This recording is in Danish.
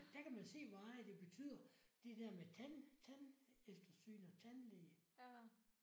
Der kan man se hvor meget det betyder det der med tand tandeftersyn og tandlæge